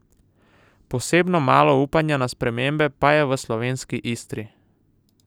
Posebno malo upanja na spremembe pa je v slovenski Istri.